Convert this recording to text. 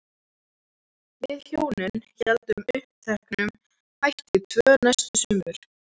Við hjónin héldum uppteknum hætti tvö næstu sumur.